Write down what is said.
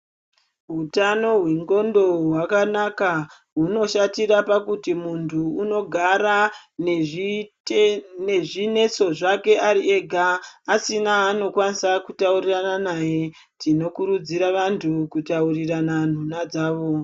Hutano hwendxondo hwakanaka hunoshatira pakuti muntu anogara nezvinetso zvake ari ega asina aanokwanisa kutaurirana naye tinokurudzira vantu kutarire nhunha dzavo.